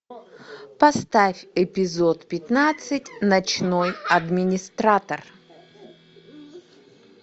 поставь эпизод пятнадцать ночной администратор